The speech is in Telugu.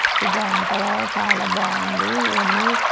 ఇది అంతగా చాలా బాగుంది. ఇని--